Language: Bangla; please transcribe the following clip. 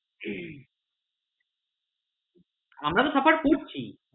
আমরা তো suffer করছি।